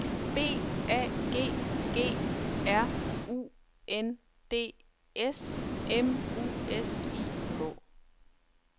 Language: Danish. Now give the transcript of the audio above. B A G G R U N D S M U S I K